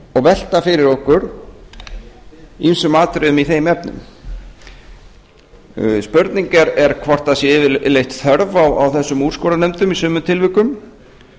og velta fyrir okkur ýmsum atriðum í þeim efnum spurning er hvort það sé yfirleitt þörf á þessum úrskurðarnefndum í sumum tilvikum